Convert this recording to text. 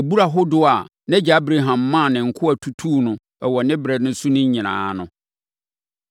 abura ahodoɔ a nʼagya Abraham maa ne nkoa tutuu wɔ ne berɛ so no nyinaa ano.